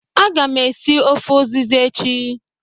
Aga m esi ofe uziza echi